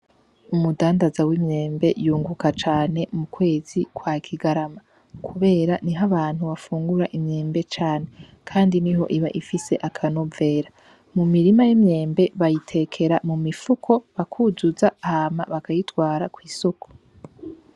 Umudandaza w'imyembe yunguka cane m'ukwezi kwa kigarama, kubera niho abantu bafungura imyembe cane kandi niho iba ifise akanovera. Mu mirima y'imyembe bayitekera mu mifuko bakuzuza hama bakayitwara kw'isoko.